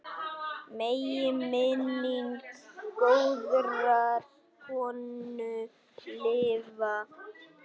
Megi minning góðrar konu lifa.